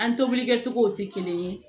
An tobilikɛcogow tɛ kelen ye